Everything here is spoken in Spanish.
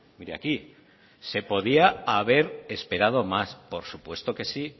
mire aquí se podía haber esperado más por supuesto que sí